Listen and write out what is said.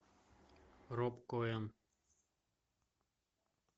роб коэн